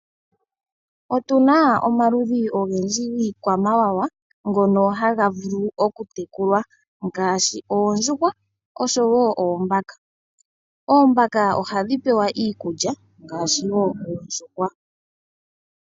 Otuna omaludhi ogendji giikwamawawa ngoka taga vulu oku tekulwa ngashi oondjuhwa osho wo oombaka. Oombaka ohadhi pewa iikulya ngashi oondjuhwa.